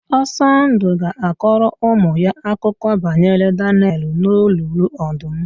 Osọndụ ga-akọrọ ụmụ ya akụkọ banyere Danịel n'olulu ọdụm.